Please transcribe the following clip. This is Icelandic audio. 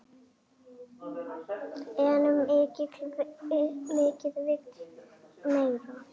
En mikið vill meira.